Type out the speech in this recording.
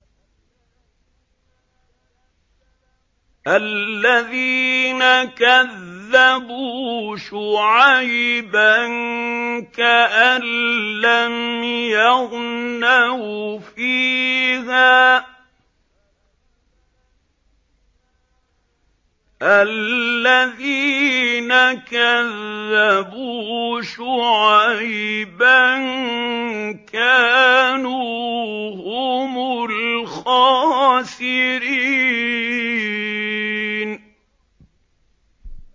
الَّذِينَ كَذَّبُوا شُعَيْبًا كَأَن لَّمْ يَغْنَوْا فِيهَا ۚ الَّذِينَ كَذَّبُوا شُعَيْبًا كَانُوا هُمُ الْخَاسِرِينَ